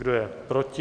Kdo je proti?